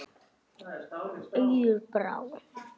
Auður Brá.